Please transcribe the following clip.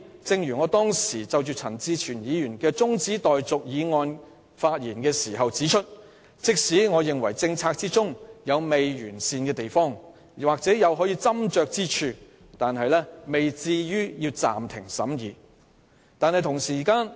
正如我當時就陳志全議員動議的中止待續議案發言時指出，即使擬議決議案有不完善或可斟酌之處，但也未至於要暫停審議。